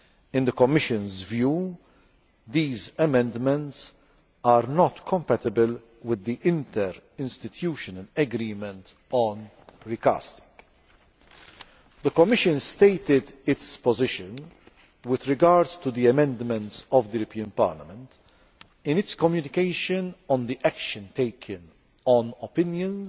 In the Commission's view, these amendments are not compatible with the interinstitutional agreement on recasting. The Commission stated its position with regard to the amendments of the European Parliament in its communication on the action taken on opinions